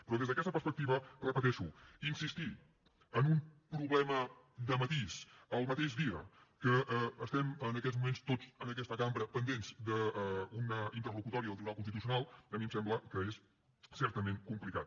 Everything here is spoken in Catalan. però des d’aquesta perspectiva ho repeteixo insistir en un problema de matís el mateix dia que estem en aquests moments tots en aquesta cambra pendents d’una interlocutòria del tribunal constitucional a mi em sembla que és certament complicat